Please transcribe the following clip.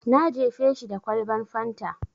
Na jefe shi da kwalban fanta.